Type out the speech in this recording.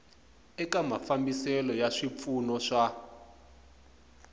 eka mafambiselo ya swipfuno swa